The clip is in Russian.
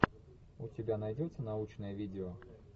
у тебя найдется научное видео